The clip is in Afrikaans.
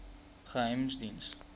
geheimediens